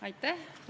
Aitäh!